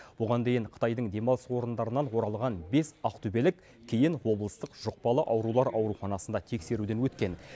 бұған дейін қытайдың демалыс орындарынан оралған бес ақтөбелік кейін облыстық жұқпалы аурулар ауруханасында тексеруден өткен